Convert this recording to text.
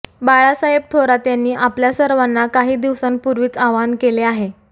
बाळासाहेब थोरात यांनी आपल्या सर्वांना काही दिवसांपूर्वीच आवाहन केले आहे